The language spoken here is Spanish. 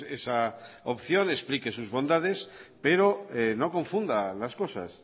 esa opción explique sus bondades pero no confunda las cosas